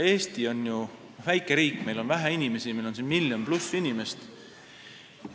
Eesti on ju väike riik, meil on vähe inimesi, meid on siin ainult üle miljoni.